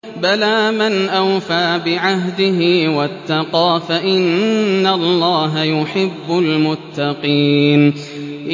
بَلَىٰ مَنْ أَوْفَىٰ بِعَهْدِهِ وَاتَّقَىٰ فَإِنَّ اللَّهَ يُحِبُّ الْمُتَّقِينَ